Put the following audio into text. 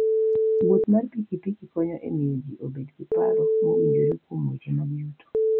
Wuoth mar pikipiki konyo e miyo ji obed gi paro mowinjore kuom weche mag yuto.